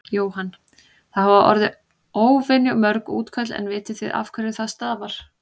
Jóhann: Það hafa orði óvenju mörg útköll en vitið þið af hverju það stafar?